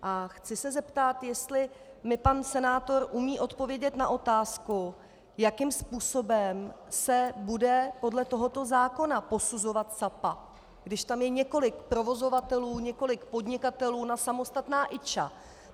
A chci se zeptat, jestli mi pan senátor umí odpovědět na otázku, jakým způsobem se bude podle tohoto zákona posuzovat Sapa, když tam je několik provozovatelů, několik podnikatelů na samostatná IČ.